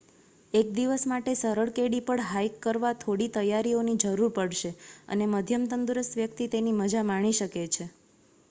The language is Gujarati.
એક દિવસ માટે સરળ કેડી પર હાઇક કરવા થોડી તૈયારીઓની જરૂર પડશે અને મધ્યમ તંદુરસ્ત વ્યક્તિ તેની મજા માણી શકે છે